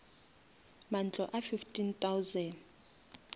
mantlo a fifteen thousand